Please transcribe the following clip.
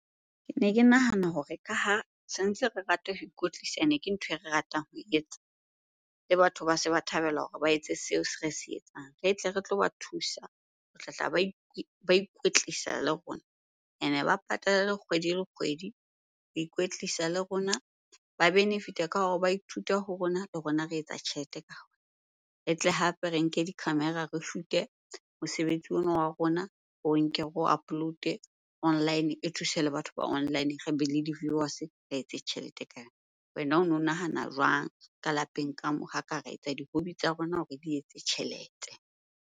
Kene ke nahana hore ka ha se ntse re rata ho ikwetlisa, ene ke ntho e re ratang ho etsa le batho ba se ba thabela hore ba etse seo se re se etsang. Re tle re tloba thusa ho tlatla ba ikwetlisa le rona ene ba patale kgwedi le kgwedi ho ikwetlisa le rona. Ba benefit-a ka hore ba ithute ho rona le rona re etsa tjhelete ka . E tle hape re nke di-camera re shoot-e mosebetsi ona wa rona, re o nke re o upload-e online. E thuse le batho ba online, re be le di-viewers re etse tjhelete . Wena ono nahana jwang ka lapeng ka moo ha ka re etsa di-hobby tsa rona hore di etse tjhelete?